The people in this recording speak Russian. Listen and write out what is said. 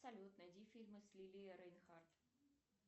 салют найди фильмы с лили рейнхарт